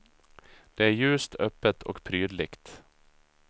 Det är ljust, öppet och prydligt.